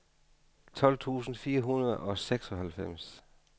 tolv tusind fire hundrede og seksoghalvfems